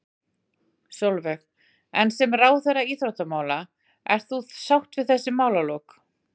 Sólveig: En sem ráðherra íþróttamála, ert þú sátt við þessi málalok?